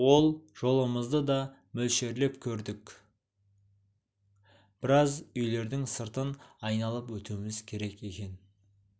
ол жолымызды да мөлшерлеп көрдік біраз үйлердің сыртын айналып өтуіміз керек екен